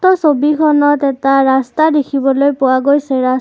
উক্ত ছবিখনত এটা ৰাস্তা দেখিবলৈ পোৱা গৈছে ৰা ছ--